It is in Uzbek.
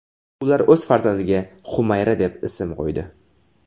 Ular o‘z farzandiga Xumayra deb ism qo‘ydi.